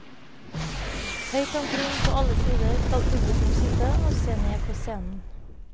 Høyt omkring på alle sider skal publikum sitte og se ned på scenen.